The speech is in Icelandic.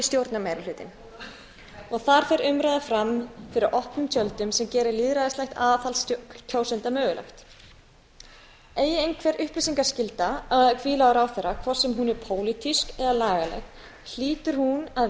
stjórnarmeirihlutinn og þar fer umræða fram fyrir opnum tjöldum sem gerir lýðræðislegt aðhald kjósenda mögulegt eigi einhver upplýsingaskylda að hvíla á ráðherra hvort sem hún er pólitísk eða lagaleg hlýtur hún að vera við